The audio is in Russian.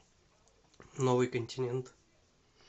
новый континент